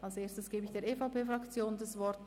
Als Erstes gebe ich der EVP-Fraktion das Wort.